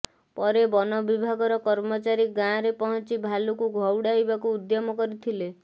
ପରେ ବନବିଭାଗର କର୍ମଚାରୀ ଗାଁରେ ପହଞ୍ଚି ଭାଲୁକୁ ଘଉଡ଼ାଇବାକୁ ଉଦ୍ୟମ କରିଥିଲେ